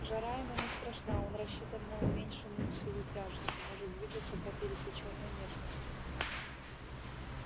жара ему не страшна он рассчитан на уменьшенную силу тяжести может двигаться по пересечённой местности